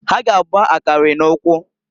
Ha g' agba akari n'ukwu.